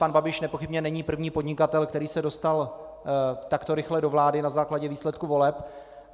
Pan Babiš nepochybně není první podnikatel, který se dostal takto rychle do vlády na základě výsledků voleb.